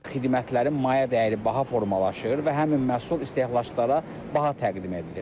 Xidmətlərin mayə dəyəri baha formalaşır və həmin məhsul istehlakçılara baha təqdim edilir.